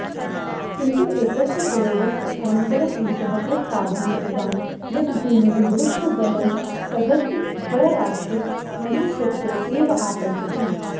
किन्तु एतस्य प्रयोगस्य अनन्तरम् एषः प्रस्तावं कृतवान् यत् भूमेः गुरुत्वबलं तत्तद्द्रव्यराशिमनुसृत्य एव आकर्षति